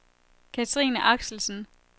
Cathrine Axelsen